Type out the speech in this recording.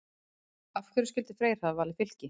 Af hverju skyldi Freyr hafa valið Fylki?